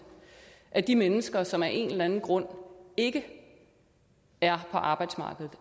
af de mennesker som af en eller anden grund ikke er på arbejdsmarkedet